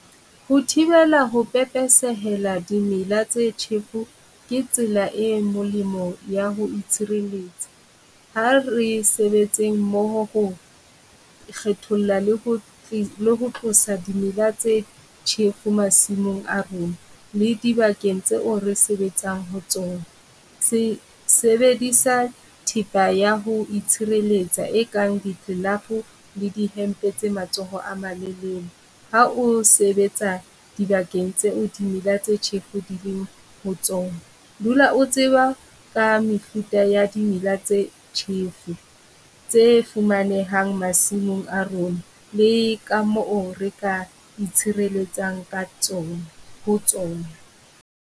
Ho thibela ho pepesehela dimela tse tjhefo ke tsela e molemo ya ho itshireletsa. Ha re sebetseng mmoho ho kgetholla le ho le ho tlosa dimela tse tjhefu masimong a rona, le di bakeng tseo re sebetsang ho tsona. Sebedisa thepa ya ho itshireletsa e kang di le di hempe tse matsoho a malelele. Ha o sebetsa dibakeng tseo dimela tse tjhefu di leng ho tsona, dula o tseba ka mefuta ya dimela tse tjhefu tse fumanehang masimong a rona le ka moo re ka itshireletsa ka tsona ho tsona.